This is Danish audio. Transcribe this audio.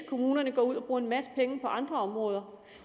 kommunerne går ud og bruger en masse penge på andre områder